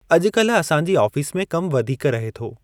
अॼुकल्ह असांजी आफीस में कम वधीक रहे थो।